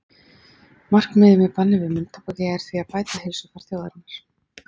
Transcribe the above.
Markmiðið með banni við munntóbaki er því að bæta heilsufar þjóðarinnar.